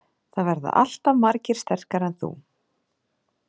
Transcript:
Það verða alltaf margir sterkari en þú.